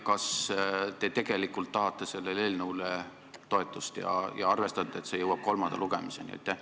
Kas te tegelikult tahate sellele eelnõule toetust ja arvestate, et see jõuab kolmanda lugemiseni?